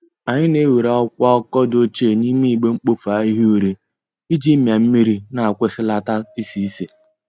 Anyị na e were akwụkwọ akụkọ dochie n'ime igbe mkpofu ahihia ure iji mia mmiri na kwụsịlata isi isi